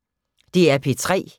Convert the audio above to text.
DR P3